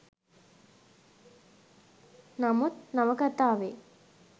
නමුත් නවකතාවේ